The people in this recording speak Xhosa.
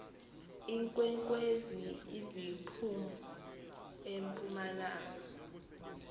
iinkwenkwezi ziphum empumalanga